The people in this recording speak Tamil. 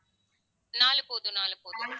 நாலு போதும் நாலு போதும்